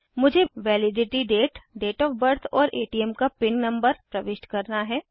मुझे validity date date of birth और ATM का पिन नंबर प्रविष्ट करना है